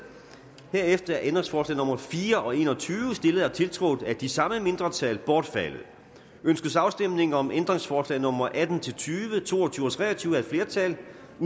herefter er ændringsforslag nummer fire og en og tyve stillet og tiltrådt af de samme mindretal bortfaldet ønskes afstemning om ændringsforslag nummer atten til tyve to og tyve og tre og tyve af et flertal